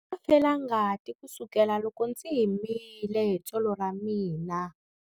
Ndza ha ri na felangati kusukela loko ndzi himile hi tsolo ra mina.